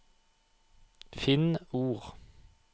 Finn ord